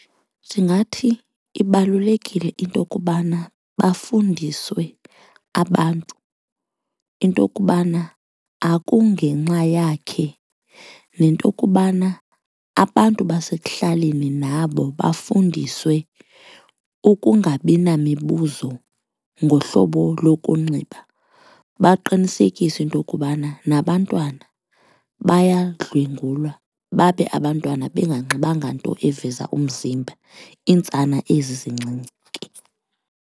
Ndingathi ibalulekile into okubana bafundiswe abantu into okubana akungenxa yakhe nento kubana abantu basekuhlaleni nabo bafundiswe ukungabi namibuzo ngohlobo lokunxiba, baqinisekise into okubana nabantwana bayandlwengulwa babe abantwana benganxibanga nto eveza umzimba iintsana ezi zincinci ke.